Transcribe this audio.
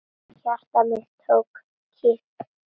Hjarta mitt tók kipp.